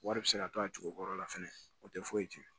Wari bɛ se ka to a tigi kɔrɔ la fɛnɛ o tɛ foyi tiɲɛ